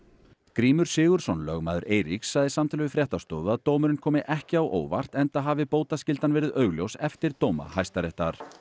Grímur Sigurðsson lögmaður Eiríks sagði í samtali við fréttastofu að dómurinn komi ekki á óvart enda hafi bótaskyldan verið augljós eftir dóma Hæstaréttar